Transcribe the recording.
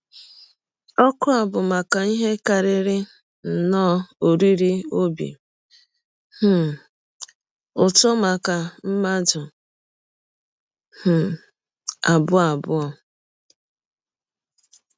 Ọ̀kụ a bụ maka ihe karịrị nnọọ oriri ọbi um ụtọ maka mmadụ um abụọ abụọ.